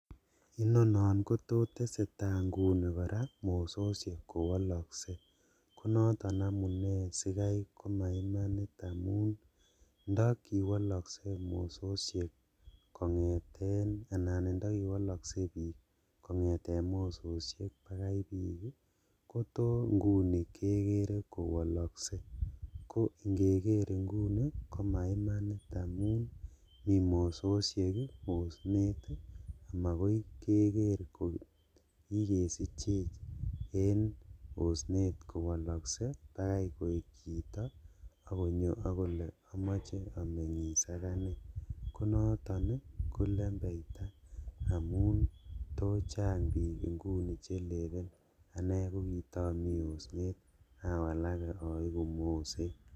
Inono kotesetaa inguni koraa mososhek kowolokse, konoton amune sikai komaimanit amun ndo kiwolokse mososhek kongeten anan indokiwolokse bik kongeten mososhek bakai bik ii koto inguni kekere kowoloksee ko ingeker inguni komainit amun mi mososhek osnet ii amokoi keker kokikesichech en osnet kowolokse bakai koik chito akonyo okole omoche omengis akanee, konoton kolembeita amun tochang bik ingunii chelelen ane kokitomi osnet awalake oiku moset.